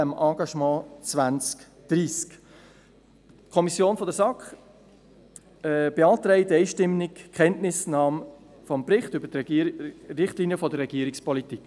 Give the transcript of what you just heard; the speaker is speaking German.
Die SAK beantragt einstimmig die Kenntnisnahme des Berichts über die Richtlinien der Regierungspolitik.